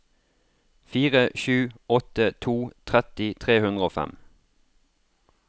fire sju åtte to tretti tre hundre og fem